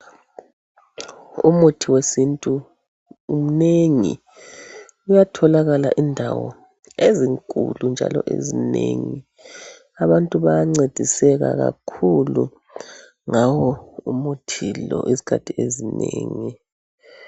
Umuthi wesintu umnengi uyatholakala indawo ezinkulu njalo ezinengi abantu bayancediseka kakhulu ngawo umuthi lo izikhathi ezinengi.